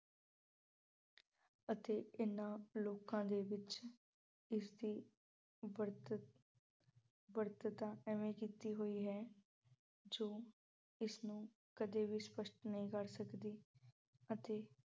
ਅਤੇ ਇਹਨਾਂ ਲੋਕਾਂ ਦੇ ਵਿੱਚ ਇਸ ਦੀ ਵਰਤਤ ਅਹ ਵਰਤਤਾ ਐਵੇਂ ਕੀਤੀ ਹੋਈ ਹੈ ਜੋ ਇਸ ਨੂੰ ਕਦੇ ਵੀ ਸਪਸ਼ਟ ਨਹੀਂ ਕਰ ਸਕਦੀ ਅਤੇ